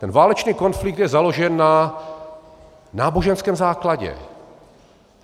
Ten válečný konflikt je založen na náboženském základě.